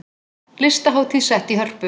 Listahátíð sett í Hörpu